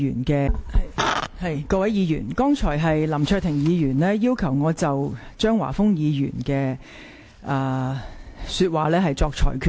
各位議員，剛才林卓廷議員要求我就張華峰議員的言論作出裁決。